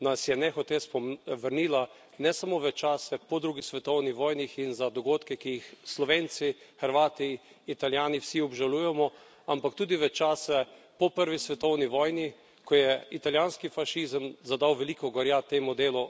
nas je nehote vrnil ne samo v čase po drugi svetovni vojne in za dogodke, ki jih Slovenci, Hrvati, Italijani, vsi obžalujemo, ampak tudi v čase po prvi svetovni vojni, ko je italijanski fašizem zadal veliko gorja temu delu